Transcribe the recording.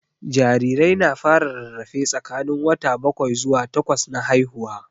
Jarirai na fara rarrafe tsakanin wata bakwai zuwa takwas na haihuwa